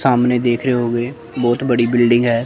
सामने देख रे होंगे बहोत बड़ी बिल्डिंग है।